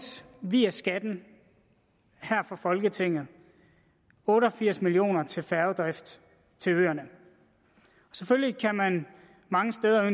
via skatten her fra folketinget otte og firs million kroner til færgedrift til øerne selvfølgelig kan man mange steder